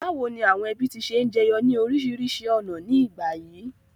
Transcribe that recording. Bàwoni àwon ẹbí ti se n jeyo ni orísìrísi ọ̀nà ni ìgbà yìí?